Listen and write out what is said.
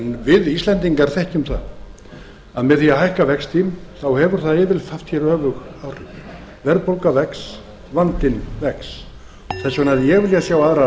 við íslendingar þekkjum það að með því að hækka vexti hefur það yfirleitt haft hér öfug áhrif verðbólga vex vandinn vex þess vegna hefði ég viljað sjá aðrar